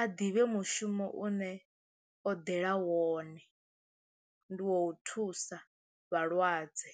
a ḓivhe mushumo une o ḓela wone ndi wou thusa vhalwadze.